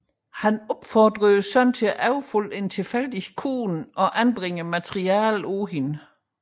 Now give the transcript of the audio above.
Han opfordrede sønnen til at overfalde en tilfældig kvinde og anbringe materialet på vedkommende